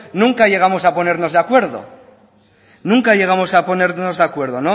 nunca llegamos a ponernos de acuerdo